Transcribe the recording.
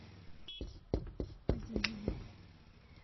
азизову